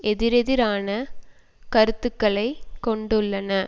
எதிரெதிரான கருத்துக்களை கொண்டுள்ளன